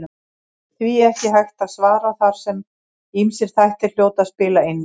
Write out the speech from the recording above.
Því er ekki hægt að svara þar sem ýmsir þættir hljóta að spila inn í.